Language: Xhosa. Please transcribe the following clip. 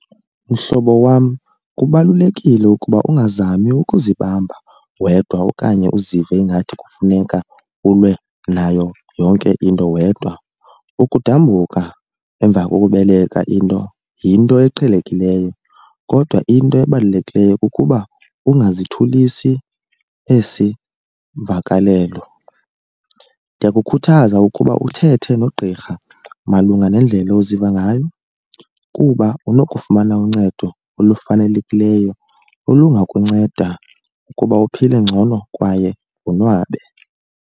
Mhlobo wam, kubalulekile ukuba ungazami ukuzibamba wedwa okanye uzive ingathi kufuneka ulwe nayo yonke into wedwa. Ukudambuka emva kokubeleka into yinto eqhelekileyo kodwa into ebalulekileyo kukuba ungazithulisi esi vakalelo. Ndiyakukhuthaza ukuba uthethe nogqirha malunga nendlela oziva ngayo kuba unokufumana uncedo olufanelekileyo olungakunceda ukuba uphile ngcono kwaye wonwabe.